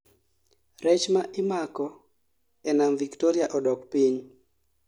rech ma imako e nam Victoria odok piny